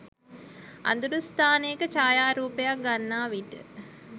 අඳුරු ස්ථානයක ඡායාරූපයක් ගන්නා විට